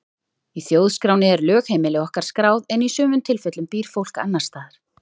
Í þjóðskránni er lögheimili okkar skráð en í sumum tilfellum býr fólk annars staðar.